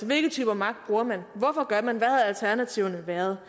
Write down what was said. hvilke typer magt bruger man hvorfor gør man det hvad har alternativerne været